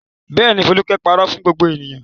Bẹ́ẹ̀ ni, Folúkẹ́ pàrọ̀ fún gbogbo ènìyàn.